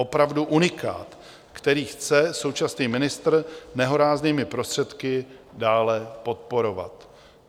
Opravdu unikát, který chce současný ministr nehoráznými prostředky dále podporovat.